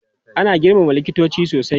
Ana girmama likitoci sosai.